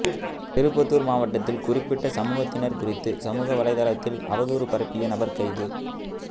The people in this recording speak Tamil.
திருப்பத்தூர் மாவட்டத்தில் குறிப்பிட்ட சமூகத்தினர் குறித்து சமூகவலைதளத்தில் அவதூறு பரப்பிய நபர் கைது